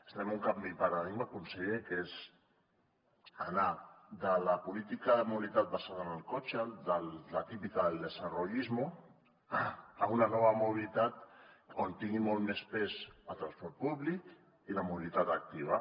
fem un canvi de paradigma conseller que és anar de la política de mobilitat basada en el cotxe de la típica del desarrollismo a una nova mobilitat on tingui molt més pes el transport públic i la mobilitat activa